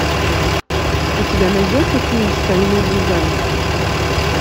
у тебя найдется фильм стальной гигант